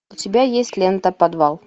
у тебя есть лента подвал